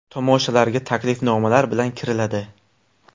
Tomoshalarga taklifnomalar bilan kiriladi.